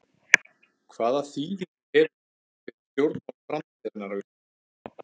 Hvaða þýðingu hefur það fyrir stjórnmál framtíðarinnar á Íslandi?